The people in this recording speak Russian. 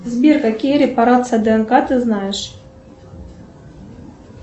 сбер какие репарации днк ты знаешь